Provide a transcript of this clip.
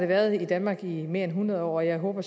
været i danmark i mere end hundrede år og jeg håber